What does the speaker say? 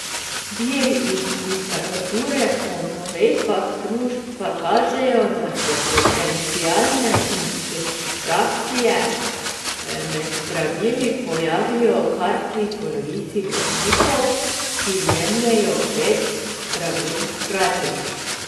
Viri iz literature po navedbah društva kažejo, da se potencialne interakcije med zdravili pojavijo kar pri polovici bolnikov, ki jemljejo pet zdravil hkrati.